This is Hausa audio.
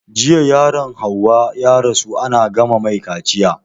Jiya yaron hauwa ya rasu ana gama mai kaciya